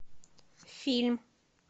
фильм